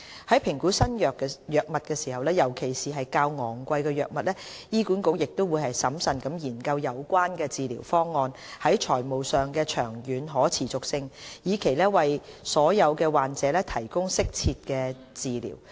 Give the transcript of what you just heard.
在評估新藥物，尤其是較昂貴的藥物時，醫管局亦會審慎研究有關治療方案在財務上的長遠可持續性，以期為所有患者提供適切的治療。